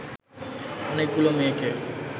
অনেকগুলো মেয়েকে